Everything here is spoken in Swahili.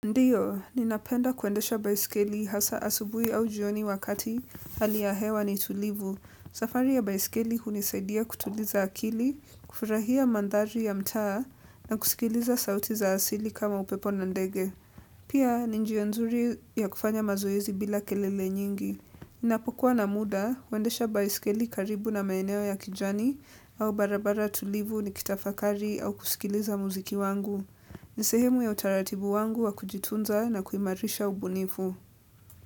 Ndiyo, ninapenda kuendesha baiskeli hasa asubuhi au jioni wakati hali ya hewa ni tulivu. Safari ya baiskeli hunisaidia kutuliza akili, kufurahia mandhari ya mtaa na kusikiliza sauti za asili kama upepo na ndege. Pia, ni njia nzuri ya kufanya mazoezi bila kelele nyingi. Napokuwa na muda, huendesha baiskeli karibu na maeneo ya kijani au barabara tulivu nikitafakari au kusikiliza muziki wangu. Ni sehemu ya utaratibu wangu wa kujitunza na kuimarisha ubunifu.